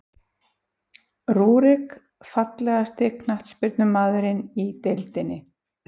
Rúrik Fallegasti knattspyrnumaðurinn í deildinni?